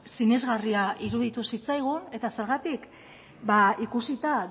sinesgarria iruditu zitzaigun eta zergatik ba ikusita